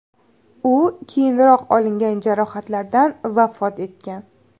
U keyinroq olingan jarohatlardan vafot etgan.